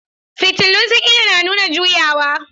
Fitulun sigina na nuna juyawa.